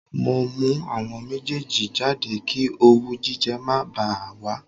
Mo mú àwọn méjèèjì jáde kí owú jíjẹ má bá a wà